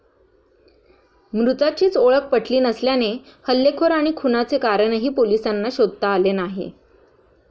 मृताचीच ओळख पटली नसल्याने हल्लेखोर आणि खुनाचे कारणही पोलिसांना शोधता आले नाही.